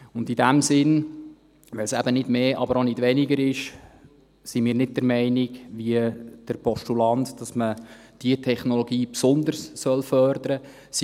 In diesem Sinn, weil es eben nicht mehr, aber auch nicht weniger ist, sind wir nicht wie der Postulant der Meinung, dass man diese Technologie besonders fördern sollte.